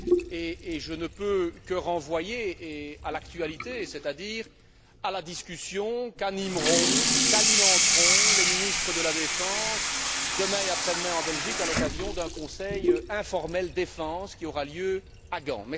Et je ne peux que renvoyer à l'actualité, c'est à dire à la discussion qu'animeront, qu'alimenteront les ministres de la défense demain et après demain en Belgique à l'occasion d'un conseil informel Défense qui aura lieu à Gand.